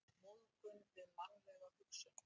Móðgun við mannlega hugsun.